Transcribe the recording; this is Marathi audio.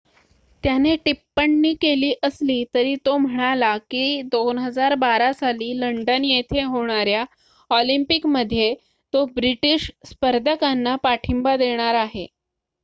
त्याने टिप्पणी केली असली तरी तो म्हणाला की 2012 साली लंडन येथे होणाऱ्या ऑलिम्पिक मध्ये तो ब्रिटीश स्पर्धकांना पाठींबा देणार आहे